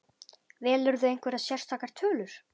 Velurðu einhverjar sérstakar tölur?